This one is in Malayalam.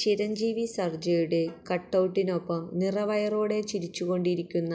ചിരഞ്ജീവി സർജയുടെ കട്ടൌട്ടിനൊപ്പം നിറവയറോടെ ചിരിച്ചുകൊണ്ട് ഇരിക്കുന്ന